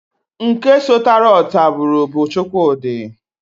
Nke sọtara ọtabụrụ bu Chukwudi.